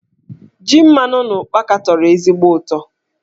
Ji mmanụ na ụkpaka tọrọ ezigbo utọ.